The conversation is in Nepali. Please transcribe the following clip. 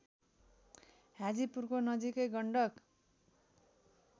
हाजीपुरको नजिकै गण्डक